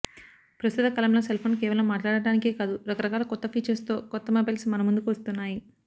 ప్రస్తుత కాలంలో cell phone కేవలం మాట్లాడటానికే కాదు రకరకాల కొత్త ఫీచర్స్ తో కొత్త మొబైల్స్ మనముందుకు వస్తున్నాయి